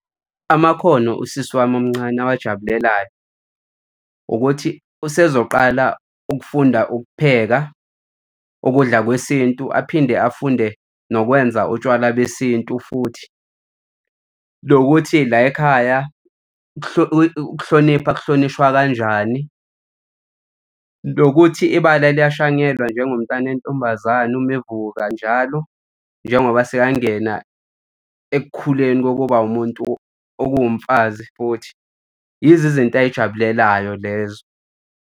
Amakhono usisi wami omncane owajabulelayo ukuthi usezoqala ukufunda ukupheka ukudla kwesintu aphinde afunde nokwenza utshwala besintu futhi. Nokuthi la ekhaya ukuhlonipha kuhlonishwa kanjani. Nokuthi ibala liyashanyelwa njengomntwana weyintombazane uma avuka njalo njengoba sekangena ekukhuleni kokuba wumuntu okuwumfazi futhi yizo izinto ayijabulelayo lezo.